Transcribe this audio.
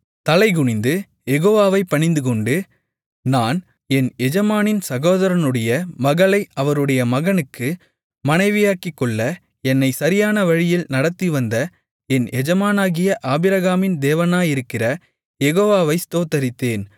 தலைகுனிந்து யெகோவாவைப் பணிந்துகொண்டு நான் என் எஜமானனின் சகோதரனுடைய மகளை அவருடைய மகனுக்கு மனைவியாக்கிக்கொள்ள என்னை சரியானவழியில் நடத்திவந்த என் எஜமானாகிய ஆபிரகாமின் தேவனாயிருக்கிற யெகோவவை ஸ்தோத்திரித்தேன்